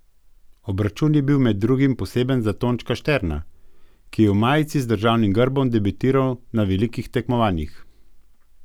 Obračun je bil med drugim poseben za Tončka Šterna, ki je v majici z državnim grbom debitiral na velikih tekmovanjih.